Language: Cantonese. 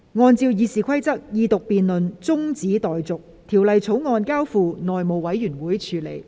按照《議事規則》，二讀辯論中止待續，《條例草案》交付內務委員會處理。